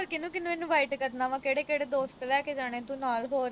ਕੀਹਨੂੰ-ਕੀਹਨੂੰ invite ਕਰਨਾ ਵਾ। ਕਿਹੜੇ-ਕਿਹੜੇ ਦੋਸਤ ਲੈ ਕੇ ਜਾਣੇ ਤੂੰ ਨਾਲ ਹੋਰ।